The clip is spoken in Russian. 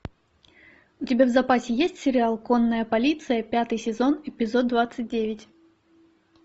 у тебя в запасе есть сериал конная полиция пятый сезон эпизод двадцать девять